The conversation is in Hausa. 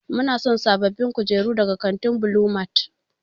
Muna son sabbabin kujeru daga kantin Blue mart.